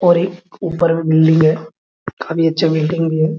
और एक ऊपर में बिल्डिंग है काफी अच्छा पेंटिंग भी है।